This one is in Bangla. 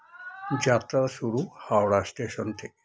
যাত্রা শুরু হাওড়া station থেকে